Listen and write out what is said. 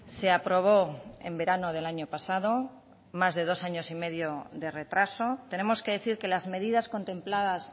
se aprobó en verano del año pasado más de dos años y medio de retraso tenemos que decir que las medidas contempladas